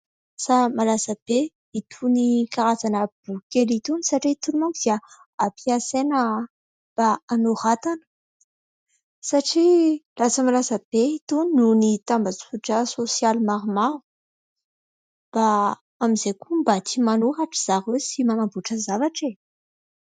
Lasa malaza be itony karazana boky kely itony, satria itony manko dia ampiasaina mba anoratana. Satria lasa malaza be itony noho ny tambazotra sosialy maromaro, mba amin'izay koa mba tia manoratra ry zareo sy manamboatra zavatra e !